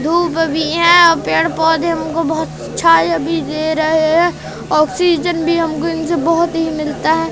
धूप भी है आ पेड़ पौधे हमको बहोत छाए भी दे रहे हैं ऑक्सीजन भी हमको इनसे बहोत ही मिलता है।